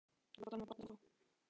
Þú ert varla nema barn ennþá.